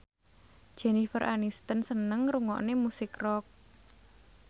Jennifer Aniston seneng ngrungokne musik rock